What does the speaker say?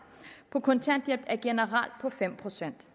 på kontanthjælp generelt er på fem procent vi